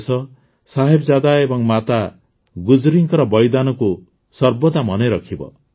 ଦେଶ ସାହେବଜାଦା ଏବଂ ମାତା ଗୁଜ୍ରୀଙ୍କ ବଳିଦାନକୁ ସର୍ବଦା ମନେରଖିବ